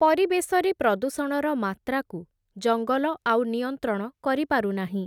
ପରିବେଶରେ ପ୍ରଦୂଷଣର ମାତ୍ରାକୁ, ଜଙ୍ଗଲ ଆଉ ନିୟନ୍ତ୍ରଣ କରିପାରୁନାହିଁ ।